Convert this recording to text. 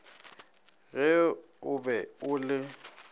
ge o be o le